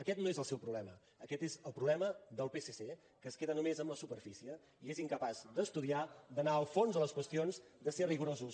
aquest no és el seu problema aquest és el problema del psc que es queda només amb la su·perfície i és incapaç d’estudiar d’anar al fons de les qüestions de ser rigorosos